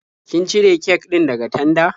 Kin cire kek din daga tanda?